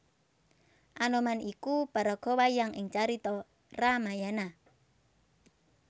Anoman iku paraga wayang ing carita Ramayana